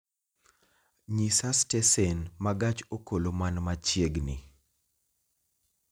nyisa stesen ma gach okoloman machiegni